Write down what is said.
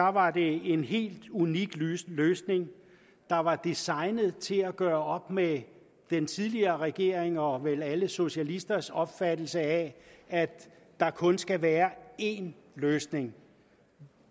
var det en helt unik løsning løsning der var designet til at gøre op med den tidligere regerings og vel alle socialisters opfattelse af at der kun skal være én løsning